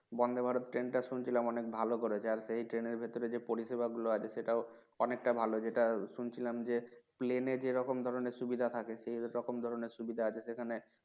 Vande, Bharat, train টা শুনছিলাম অনেক ভালো করেছে আর এই train এর ভিতরে যে পরিষেবা গুলো আছে সেটাও অনেকটা ভালো যেটা শুনছিলাম যে Plain এ যেরকম ধরণের সুবিধা থাকে সেইরকম ধরণের সুবিধা আছে সেখানে